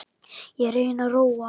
Ég reyni að róa hana.